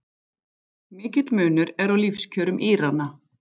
Mikill munur er á lífskjörum Írana